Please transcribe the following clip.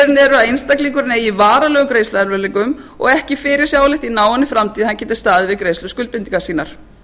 skilyrðin eru að einstaklingurinn eigi í varanlegum greiðsluerfiðleikum og ekki fyrirsjáanlegt í náinni framtíð að hann geti staðið við greiðsluskuldbindingar sínar